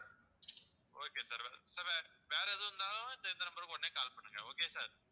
okay sir sir வே~ வேற எதுவா இருந்தாலும் இந்த number க்கு உடனே call பண்ணுங்க okay sir